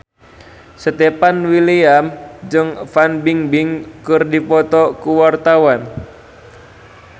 Stefan William jeung Fan Bingbing keur dipoto ku wartawan